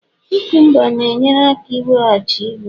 cucumbers na-enyere aka iweghachi ibu